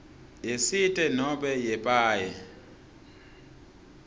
yesite nobe yepaye